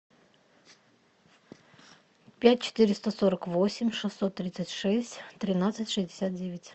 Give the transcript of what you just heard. пять четыреста сорок восемь шестьсот тридцать шесть тринадцать шестьдесят девять